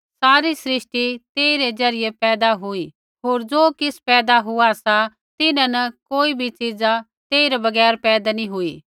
सारी सृष्टि तेई रै ज़रियै पैदा हुई होर ज़ो किछ़ पैदा हुआ सा तिन्हां न कोई भी चीज तेइरै बगैर पैदा नैंई हुई